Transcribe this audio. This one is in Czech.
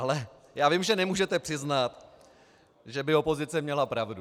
Ale já vím, že nemůžete přiznat, že by opozice měla pravdu.